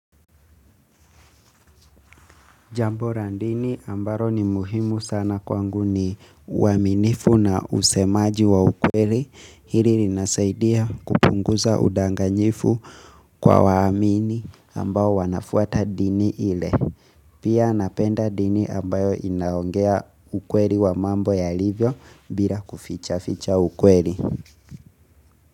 Jambo la dini ambalo ni muhimu sana kwangu ni uaminifu na usemaji wa ukweli hili linasaidia kupunguza udanganyifu kwa waamini ambao wanafuata dini ile Pia napenda dini ambayo inaongea ukweli wa mambo yalivyo bila kuficha ficha ukweli.